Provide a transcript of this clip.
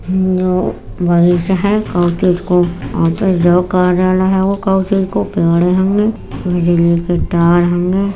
मरीज हैं काऊ चीज़ कार्यालय हेगो काऊ चीज़ को पेड़ हैंगे बिजली के तार हैंगे।